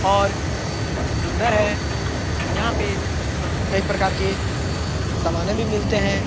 और सुन्दर है। यहाँ पे कई प्रकार के सामाने भी मिलते हैं।